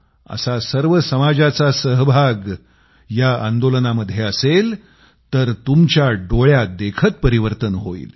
असा सर्व समाजाचा सहभाग या आंदोलनामध्ये असेल तर तुमच्या डोळ्यादेखत परिवर्तन होईल